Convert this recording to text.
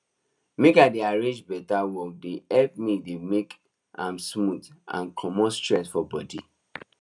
make i dey arrange beta work dey help me dey make am smooth and comot stress for body